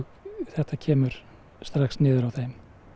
þetta kemur strax niður á þeim